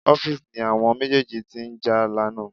Office ni àwọn méjèèjì tí ń jà lánàá